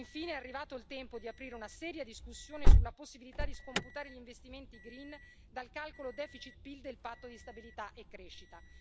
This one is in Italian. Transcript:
Infine è arrivato il tempo di aprire una seria discussione sulla possibilità di scomputare gli investimenti green dal calcolo deficit PIL del Patto di stabilità e crescita.